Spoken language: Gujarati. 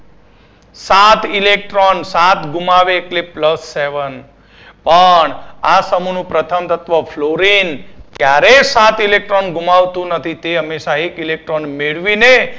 સાત electron સાત ગુમાવે એટલે plusseven પણ આ સમુહનું પ્રથમ તત્વ fluorine ક્યારેય સાત electron ગુમાવતું નથી. તે હંમેશા એક electron મેળવીને